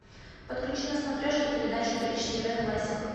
подключи на смотрешке передачу бридж тв классик